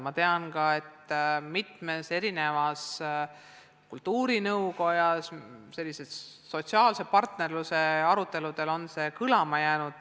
Ma tean ka, et kultuurinõukoja aruteludel on sellise sotsiaalse partnerluse teema kõlama jäänud.